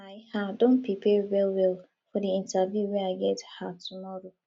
i um don prepare wellwell for di interview wey i get um tomorrow